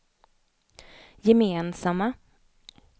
gemensamma